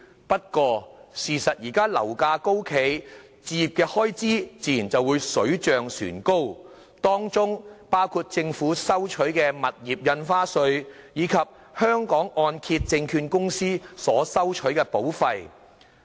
不過，由於現時樓價高企，置業的開支亦自然水漲船高，當中包括政府收取的物業印花稅，以及香港按揭證券有限公司所收取的保費。